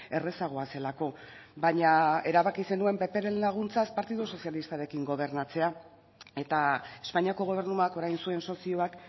errazagoa zelako baina erabaki zenuen ppren laguntzaz partidu sozialistarekin gobernatzea eta espainiako gobernuak orain zuen sozioak